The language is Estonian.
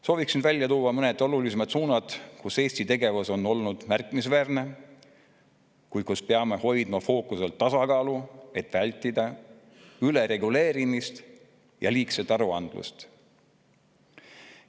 Soovin välja tuua mõned olulisemad suunad, kus Eesti tegevus on olnud märkimisväärne, kuid kus peame hoidma fookuses tasakaalu, et vältida ülereguleerimist ja liigset aruandlust.